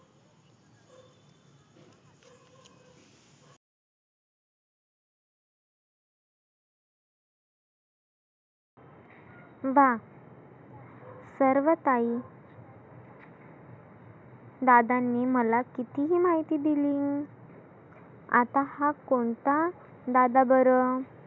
वाह सर्व काही दादांनी मला किती ही माहिती दिली. आता हा कोणता दादा बरं?